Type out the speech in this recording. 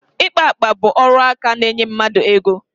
Ịkpa akpa bụ akaọrụ na-enye mmadụ ego.